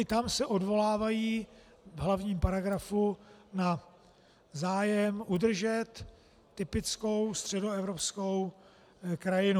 I tam se odvolávají v hlavním paragrafu na zájem udržet typickou středoevropskou krajinu.